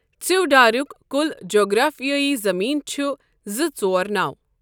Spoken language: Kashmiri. ژِیوٚڈاریک کل جغرافِیٲیی زٔمیٖن چھ زٕ ژور نو.